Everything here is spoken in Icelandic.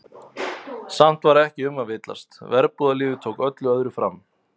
Samt var ekki um að villast, verbúðalífið tók öllu öðru fram.